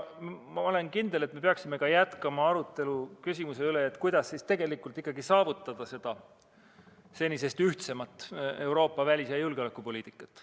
Ma olen kindel, et me peaksime jätkama arutelu ka küsimuse üle, kuidas tegelikult ikkagi saavutada senisest ühtsemat Euroopa välis- ja julgeolekupoliitikat.